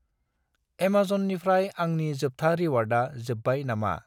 एमेजननिफ्राय आंनि जोबथा रिवार्डआ जोब्बाय नामा?